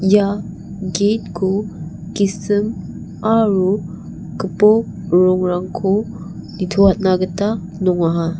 ia gate -ko gisim aro gipok rongrangko nitoatna gita nongaha.